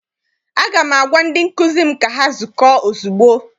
Aga m agwa ndị nkụzi m ka ha zukọọ ozugbo!